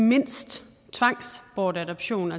mindst tvangsbortadoption